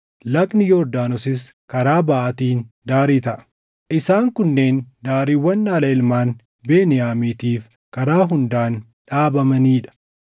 Lagni Yordaanosis karaa baʼaatiin daarii taʼa. Isaan kunneen daariiwwan dhaala ilmaan Beniyaamiitiif karaa hundaan dhaabamanii dha.